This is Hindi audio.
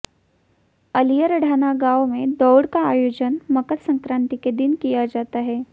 अलीयर ढाणा गांव में दौड़ का आयोजन मकर सक्रांति के दिन किया जाता है